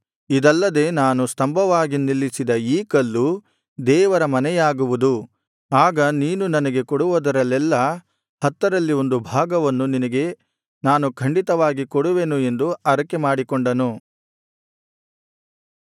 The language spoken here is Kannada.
ಇದಲ್ಲದೆ ನಾನು ಸ್ತಂಭವಾಗಿ ನಿಲ್ಲಿಸಿದ ಈ ಕಲ್ಲು ದೇವರ ಮನೆಯಾಗುವುದು ಆಗ ನೀನು ನನಗೆ ಕೊಡುವುದರಲ್ಲೆಲ್ಲಾ ಹತ್ತರಲ್ಲಿ ಒಂದು ಭಾಗವನ್ನು ನಿನಗೆ ನಾನು ಖಂಡಿತವಾಗಿ ಕೊಡುವೆನು ಎಂದು ಹರಕೆಮಾಡಿಕೊಂಡನು